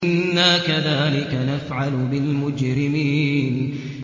إِنَّا كَذَٰلِكَ نَفْعَلُ بِالْمُجْرِمِينَ